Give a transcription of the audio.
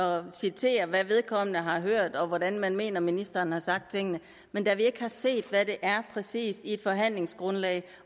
og citerer hvad vedkommende har hørt og hvordan man mener ministeren har sagt tingene men da vi ikke har set hvad det er præcist i et forhandlingsgrundlag